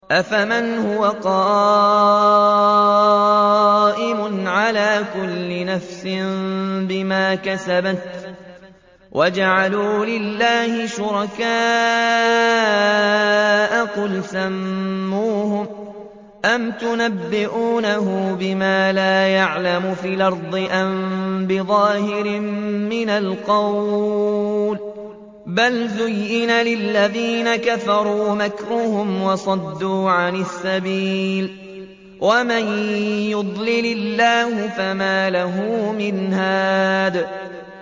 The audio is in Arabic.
أَفَمَنْ هُوَ قَائِمٌ عَلَىٰ كُلِّ نَفْسٍ بِمَا كَسَبَتْ ۗ وَجَعَلُوا لِلَّهِ شُرَكَاءَ قُلْ سَمُّوهُمْ ۚ أَمْ تُنَبِّئُونَهُ بِمَا لَا يَعْلَمُ فِي الْأَرْضِ أَم بِظَاهِرٍ مِّنَ الْقَوْلِ ۗ بَلْ زُيِّنَ لِلَّذِينَ كَفَرُوا مَكْرُهُمْ وَصُدُّوا عَنِ السَّبِيلِ ۗ وَمَن يُضْلِلِ اللَّهُ فَمَا لَهُ مِنْ هَادٍ